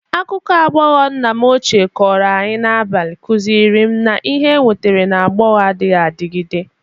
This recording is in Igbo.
Akụkọ aghọghọ nna m ochie kọrọ anyị n'abalị kụzịrị m na ihe enwetara n'aghọghọ adịghị adịgide.